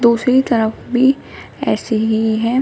दूसरी तरफ भी ऐसे ही हैं।